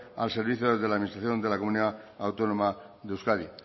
al servicio de la administración de la comunidad autónoma de euskadi